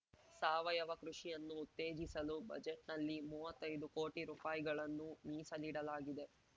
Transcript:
ಸಾವಯವ ಕೃಷಿಯನ್ನು ಉತ್ತೇಜಿಸಲು ಬಜೆಟ್‌ನಲ್ಲಿ ಮೂವತ್ತೈದು ಕೋಟಿ ರೂಪಾಯಿ ಗಳನ್ನು ಮೀಸಲಿಡಲಾಗಿದೆ